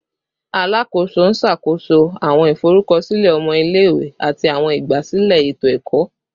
Alakoso n ṣakoso awọn iforukọsilẹ ọmọ ile-iwe ati awọn igbasilẹ eto-ẹkọ